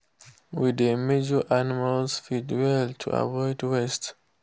we dey measure animal feed well to avoid waste